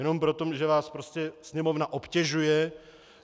Jenom proto, že vás Sněmovna obtěžuje?